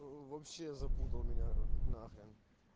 вообще запутал меня на хрен